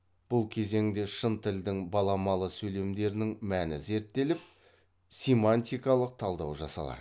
бұл кезеңде шын тілдің баламалы сөйлемдерінің мәні зерттеліп симантикалық талдау жасалады